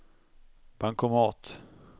bankomat